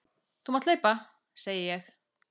Þú mátt hlaupa, segi ég.